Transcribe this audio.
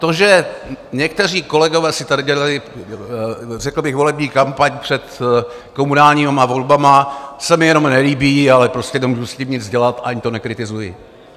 To, že někteří kolegové si tady dělali, řekl bych, volební kampaň před komunálními volbami, se mi jenom nelíbí, ale prostě nemohu s tím nic dělat, ani to nekritizuji.